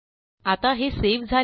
आता हे सावे झाले आहे